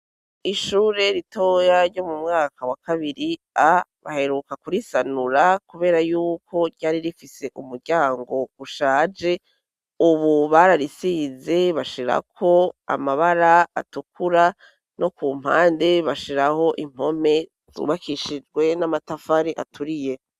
Ishure ritoya ryo mu mwaka wa kabiri A baheruka kurisanura kubera yuko ryari rifise umuryango ushaje ubu bararisize bashirako amabara atukura no ku mpande bashiraho impome zubakishijwe n'amatafari aturiye.